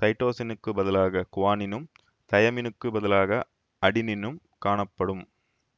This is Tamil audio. சைட்டோசினுக்குப் பதிலாக குவானினும் தையமினுக்குப் பதிலாக அடினினும் காணப்படும்